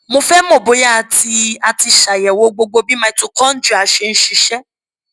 mo fẹ mọ bóyá a ti a ti ṣàyẹwò gbogbo bí mitochondria ṣe ń ṣiṣẹ